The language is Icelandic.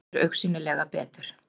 Líður augsýnilega betur.